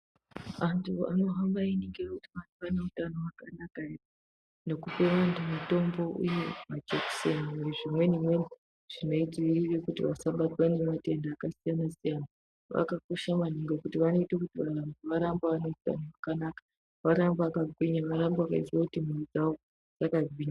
Anthu anohamba einingira kuti anthu ane utano hwakanakaere, nekupa anhu mitombo uye majekiseni nezvimweni mweniwo zvinoitire kuti vasabatwa ngematenda akasiyana siyana akakosha maningi ngekuti vanoite kuti vanthu varambe vaneutano hwakanaka, varambe vakangwinya, varambe veizwa kuti mwiri yavo irambe yakangwinya.